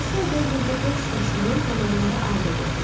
Masuayada 25 yaşımın tamamında ailə qurdum.